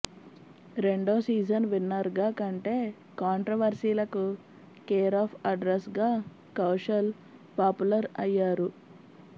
రెండో సీజన్ విన్నర్గా కంటే కాంట్రవర్సీలకు కేరాఫ్ అడ్రస్గా కౌశల్ పాపులర్ అయ్యారు